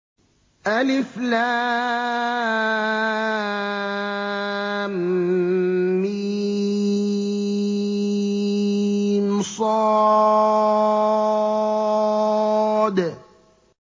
المص